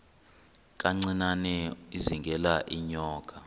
kancinane izingela iinyoka